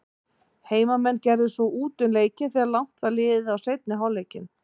Heimamenn gerðu svo út um leikinn þegar langt var liðið á seinni hálfleikinn.